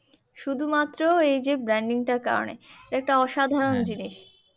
শুধুমাত্র এইযে branding টার কারণে এটা একটা অসাধারণ জিনিস।